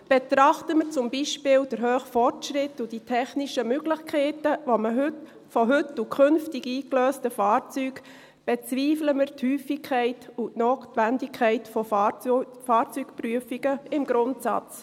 Betrachten wir zum Beispiel den hohen Fortschritt und die technischen Möglichkeiten von heute und künftig eingelösten Fahrzeugen, bezweifeln wir die Häufigkeit und die Notwendigkeit von Fahrzeugprüfungen im Grundsatz.